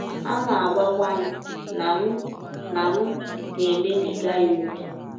Ha na - agwakwa m na m na - m na - emebiga ya ọ́kè.